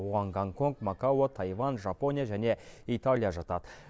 оған гонконг макао тайвань жапония және италия жатады